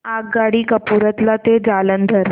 आगगाडी कपूरथला ते जालंधर